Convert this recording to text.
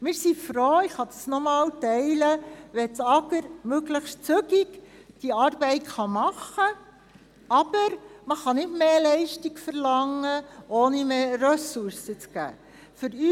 Wir sind froh, und damit bin ich einverstanden, wenn das AGR die Arbeit möglichst zügig macht, aber man kann nicht mehr Leistung verlangen, ohne mehr Ressourcen zu geben.